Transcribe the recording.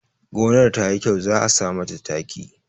Gonar ta yi kyau za a sa mata taki